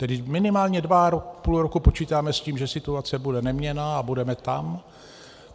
Tedy minimálně dva a půl roku počítáme s tím, že situace bude neměnná a budeme tam.